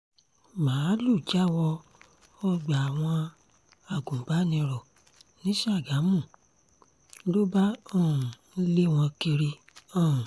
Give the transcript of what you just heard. máàlùú já wọ ọgbà àwọn agùnbànìrò ní ṣàgámù ló bá um ń lé wọn kiri um